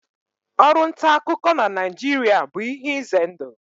Ọrụ nta akụkọ na Naịjirịa bụ ihe ize ndụ.